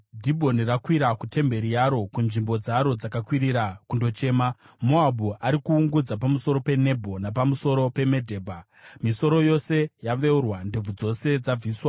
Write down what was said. Dhibhoni rakwira kutemberi yaro, kunzvimbo dzaro dzakakwirira kundochema; Moabhu ari kuungudza pamusoro peNebho napamusoro peMedhebha. Misoro yose yaveurwa ndebvu dzose dzabviswa.